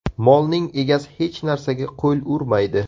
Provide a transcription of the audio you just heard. Molning egasi hech narsaga qo‘l urmaydi.